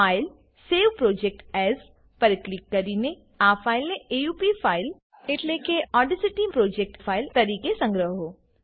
file save project as પર click કરીને આ ફાઈલને એ ઉ પ ફાઈલ એટલે કે ઓડેસીટી પ્રોજેક્ટ ફાઈલ તરીકે સંગ્રહો